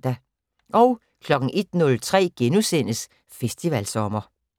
01:03: Festivalsommer *